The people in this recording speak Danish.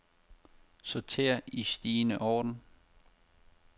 Sorter i stigende orden.